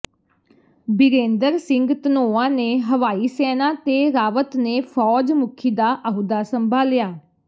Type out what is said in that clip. ਬਿਰੇਂਦਰ ਸਿੰਘ ਧਨੋਆ ਨੇ ਹਵਾਈ ਸੈਨਾ ਤੇ ਰਾਵਤ ਨੇ ਫ਼ੌਜ ਮੁਖੀ ਦਾ ਅਹੁਦਾ ਸੰਭਾਲਿਆ